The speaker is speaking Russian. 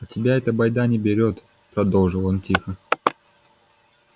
а тебя эта байда не берет продолжил он тихо